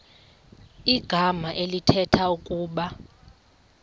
igama elithetha ukuba